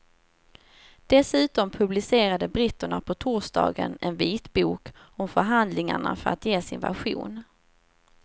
Dessutom publicerade britterna på torsdagen en vitbok om förhandlingarna för att ge sin version.